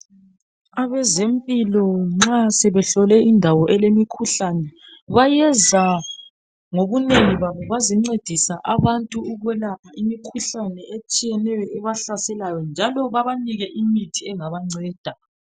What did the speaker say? Abezempilo nxa sebehlole indawo elemikhuhlane bayenza ngobunengi babo bazencedisa abantu ukwelapha imikhuhlane etshiyeneyo ebahlaselayo njalo babanike imithi engabanceda